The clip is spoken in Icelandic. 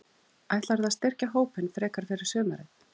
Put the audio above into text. Ætlarðu að styrkja hópinn frekar fyrir sumarið?